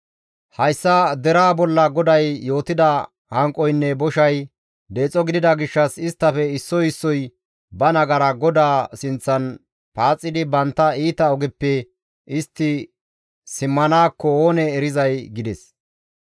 Hayssa deraa bolla GODAY yootida hanqoynne boshay deexo gidida gishshas isttafe issoy issoy ba nagara GODAA sinththan paaxidi bantta iita ogeppe istti simmanaakko oonee erizay?» gides.